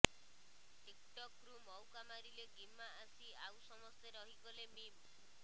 TikTok ରୁ ମୌକା ମାରିଲେ ଗିମା ଆସି ଆଉ ସମସ୍ତେ ରହିଗଲେ ମିମ୍